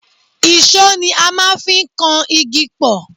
èṣó ni a máa ń fi ń kan igi pọ̀